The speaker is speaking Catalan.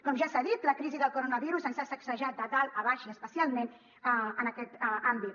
com ja s’ha dit la crisi del coronavirus ens ha sacsejat de dalt a baix i especialment en aquest àmbit